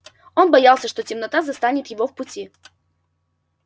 он боялся что темнота застанет его в пути